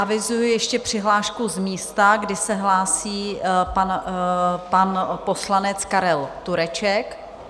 Avizuji ještě přihlášku z místa, kdy se hlásí pan poslanec Karel Tureček.